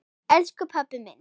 Elsku pabbi minn.